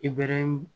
I bɛ